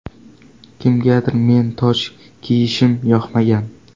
Kimgadir men toj kiyishim yoqmagan.